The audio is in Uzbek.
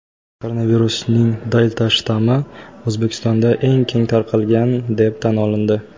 Koronavirusning "Delta"-shtammi O‘zbekistonda eng keng tarqalgan deb tan olindi.